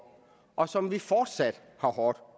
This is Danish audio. og som vi fortsat har hårdt